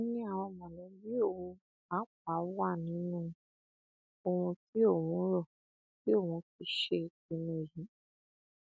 ó ní àwọn mọlẹbí òun pàápàá wà nínú òun tí òun rò tí òun fi ṣe ìpinnu yìí